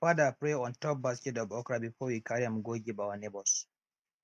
de father pray on top de basket of okra before we carry am go give our neighbors